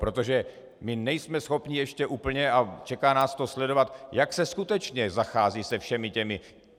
Protože my nejsme schopni ještě úplně, a čeká nás to, sledovat, jak se skutečně zachází se všemi těmi...